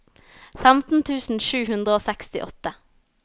femten tusen sju hundre og sekstiåtte